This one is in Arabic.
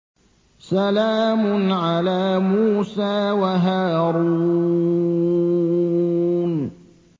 سَلَامٌ عَلَىٰ مُوسَىٰ وَهَارُونَ